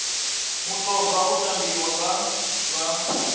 mutoga u tambiwa nga vha